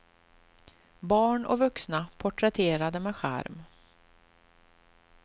Barn och vuxna porträtterade med charm.